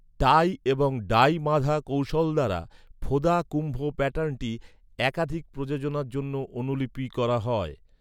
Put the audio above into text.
টাই এবং ডাই বাঁধা কৌশল দ্বারা, ফোদা কুম্ভ প্যাটার্নটি একাধিক প্রযোজনার জন্য অনুলিপি করা হয়।